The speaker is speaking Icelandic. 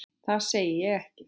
Það segi ég ekki.